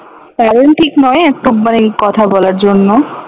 কারণ ঠিক নয় ওই একটা কথা বলার জন্য